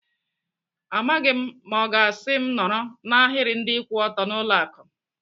Amaghị m ma ọ ga-asị m nọrọ n'ahiri ndị kwụ ọtọ n'ụlọ akụ.